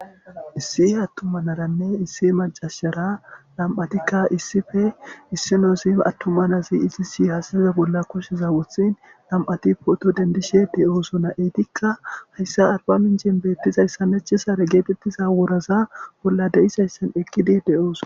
Issi atuma naranne issi macasara nam'atika issippe issinoz atuma Naz izis hasheza bolla kushe wothini 2 ti poto dendishe de'osona. Etika haysa arbaminchen betizaysa necisare woraza bolla eqid de'osona.